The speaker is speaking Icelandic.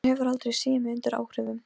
Ætlarðu bara að hanga hér og djúsa?